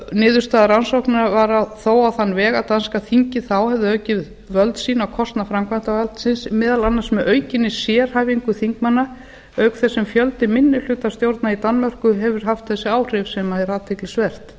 niðurstaða rannsóknarinnar var þó á þann veg að danska þingið þá hefði aukið völd sín á kostnað framkvæmdarvaldsins meðal annars með aukinni sérhæfingu þingmanna auk þess sem fjöldi minnihlutastjórna í danmörku hefur haft þessi áhrif sem er athyglisvert